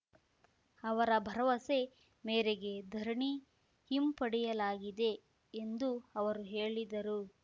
ಅವರ ಭರವಸೆ ಮೇರೆಗೆ ಧರಣಿ ಹಿಂಪಡೆಯಲಾಗಿದೆ ಎಂದು ಅವರು ಹೇಳಿದರು